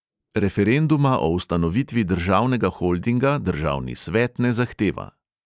Referenduma o ustanovitvi državnega holdinga državni svet ne zahteva.